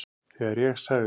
Þegar ég sagði